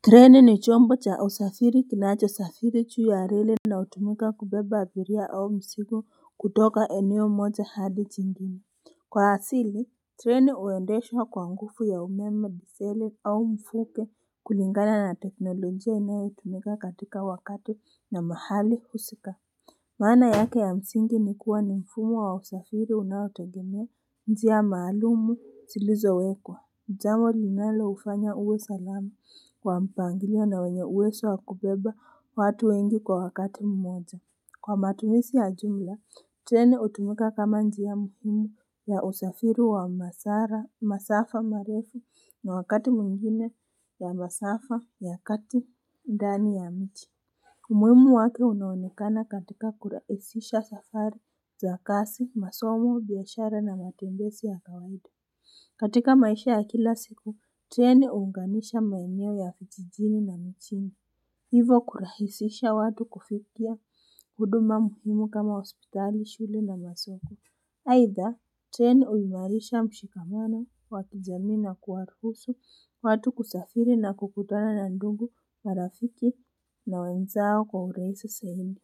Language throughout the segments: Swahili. Treni ni chombo cha usafiri kinachosafiri juu ya reli na hutumika kubeba abiria au mzigo kutoka eneo moja hadi jingine. Kwa asili, treni huendeshwa kwa nguvu ya umeme, diseli au mfuke kulingana na teknolojia inayotumika katika wakati na mahali husika. Maana yake ya msingi ni kuwa ni mfumo wa usafiri unaotegemea njia maalumu zilizowekwa. Jambo linaloufanya uwe salama kwa mpangilio na wenye uwezo wa kubeba watu wengi kwa wakati mmoja. Kwa matumizi ya jumla, treni hutumika kama njia mfumo ya usafiri wa masafa marefu na wakati mwingine ya masafa ya kati ndani ya nchi. Umuhimu wake unaonekana katika kurahizisha safari za kazi, masomo, biashara na matembezi ya kawadi. Katika maisha ya kila siku treni huunganisha maeneo ya vijijini na mijini. Hivo kurahisisha watu kufikia huduma muhimu kama hospitali, shule na masoko. Aidha, treni huimarisha mshikamano wa kijamii na kuwaruhusu, watu kusafiri na kukutana na ndugu na rafiki na wenzao kwa urahisi zaidi.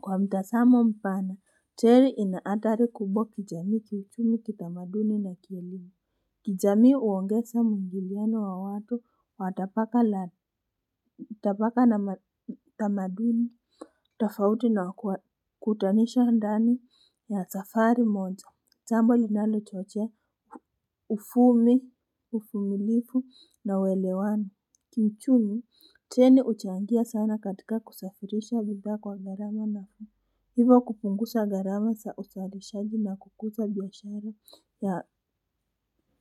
Kwa mtazamo mpana, treni ina hatari kubwa kijamii, kiuchumi, kitamaduni na kielimu. Kijamii huongeza mwingiliano wa watu, matapaka na tamaduni tofauti na kuwakutanisha ndani ya safari moja. Jambo linalochochea, uchumi, uvumilivu na uelewano. Kiuchumi, treni huchangia sana katika kusafirisha bidhaa kwa gharama nafuu. Hivo kupunguza gharama za uzarishaji na kukuza biashara ya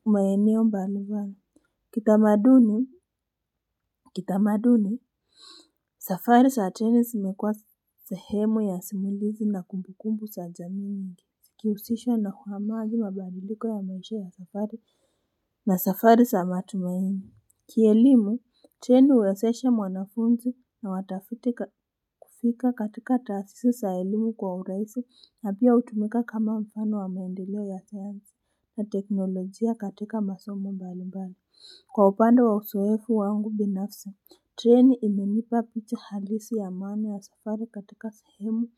maeneo mbalimbali. Kitamaduni, safari za treni zimekuwa sehemu ya simulizi na kumbukumbu za jamii mingi. Kuhusisha na kuhamadi mabadiliko ya maisha ya safari za matumaini. Kielimu, treni huwezesha mwanafunzi na watafiti kufika katika taasisi za elimu kwa urahisi na pia hutumika kama mfano wa maendeleo ya sayansi na teknolojia katika masomo mbalimbali. Kwa upande wa uzoefu wangu binafsi, treni imenipa picha halisi ya maana ya safari katika sehemu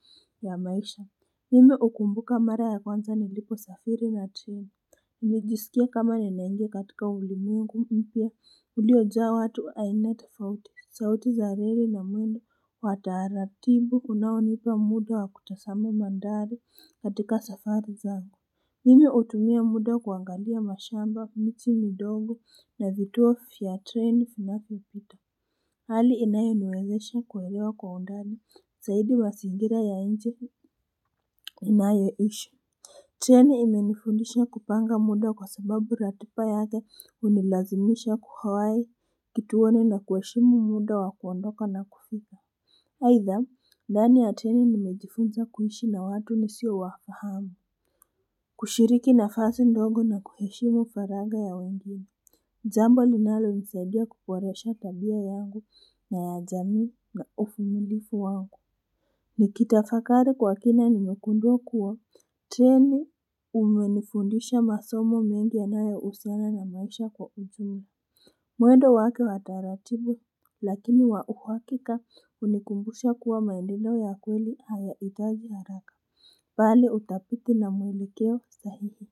ya maisha. Mimi hukumbuka mara ya kwanza niliposafiri na treni. Nilijisikia kama ninaingia katika ulimwengu mpya, uliojaa watu aina tofauti. Sauti za reri na mwendo, wa taratibu kunaonipa muda wa kutazama mandhari katika safari zangu. Mimi hutumia muda kuangalia mashamba, miti midogo na vituo vya treni vinavyopita hali inayoniwezesha kuelewa kwa undani zaidi mazingira ya nje ninayoishi. Treni imenifundisha kupanga muda kwa sababu ratiba yake hunilazimisha kuwahi kituoni na kuheshimu muda wa kuondoka na kufika Aidha, ndani ya treni nimejifunza kuishi na watu nisiowafahamu kushiriki nafasi ndogo na kuheshimu faraga ya wengine. Jambo linalonisaidia kuboresha tabia yangu na ya jamii na uvumilivu wangu Nikitafakari kwa kina nimegundua kuwa treni imenifundisha masomo mengi yanayohusiana na maisha kwa ujumla. Mwendo wake wa utaratibu lakini wa uhakika hunikumbusha kuwa maendeleo ya kweli hayahitaji haraka. Bali utafiti na mwelekeo sahihi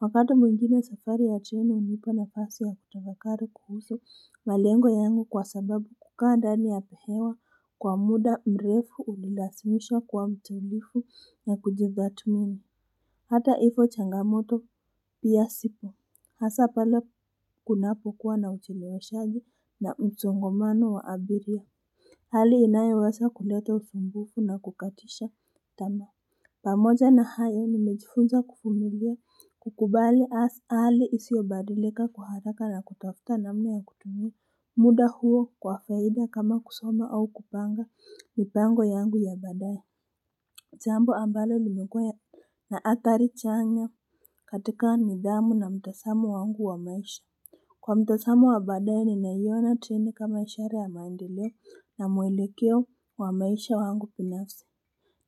Wakati mwingine safari ya treni hunipa nafasi ya kutafakari kuhusu malengo yangu kwa sababu kukaa ndani ya hewa kwa muda mrefu hunilazimisha kuwa mtulivu na kujitathmini. Hata ipo changamoto pia sipo. Hasa pale kunapokuwa na ucheleweshaji na msongomano wa abiria. Hali inayoweza kuleta upungufu na kukatisha tamaa. Pamoja na hayo, nimejifunza kuvumilia, kukubali hali isiyobadilika kwa haraka na kutafuta namna ya kutumia muda huo kwa faida kama kusoma au kupanga mipango yangu ya baadaye Jambo ambalo limekuwa na hatari chanya katika nidhamu na mtazamo wangu wa maisha. Kwa mtazamo wa baadaye, ninaiona treni kama ishara ya maendeleo na mwelekeo wa maisha wangu binafsi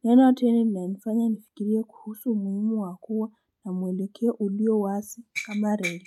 Neno treni linanifanya nifikirie kuhusu umuhimu wa kuwa na mwelekeo ulio wazi kama reli.